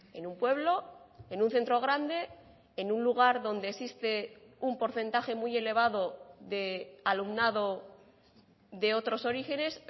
en un pueblo en un centro grande en un lugar donde existe un porcentaje muy elevado de alumnado de otros orígenes